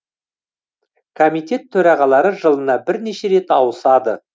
комитет төрағалары жылына бірнеше рет ауысады